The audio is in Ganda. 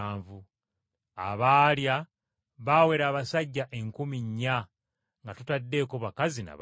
Abaalya baawera abasajja enkumi nnya nga totaddeeko bakazi na baana.